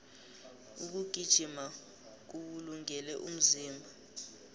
ukugijima kuwulungele umzimba